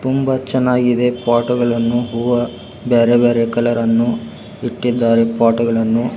ತುಂಬಾ ಚೆನ್ನಾಗಿದೆ ಪೋಟುಗಳನ್ನು ಹೂವ ಬ್ಯಾರೆ ಬ್ಯಾರೆ ಕಲರ್ ಪಾಟ್ ಗಳನ್ನ ಇಟ್ಟಿದ್ದಾರೆ.